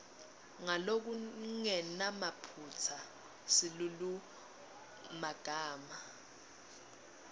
ngalokungenamaphutsa silulumagama